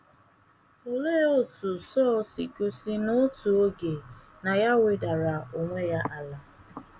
Olee otú Sọl si gosi n’otu oge na ya wedara onwe ya ala?